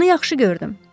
Onu yaxşı gördüm.